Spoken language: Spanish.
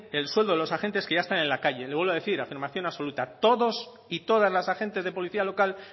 el sueldo de los agentes que ya están en la calle le vuelvo a decir afirmación absoluta todos y todas las agentes de policía local